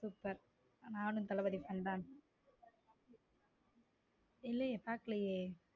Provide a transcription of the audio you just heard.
super நானும் Thalapathy fan தான் இல்லையே பாக்கலையே.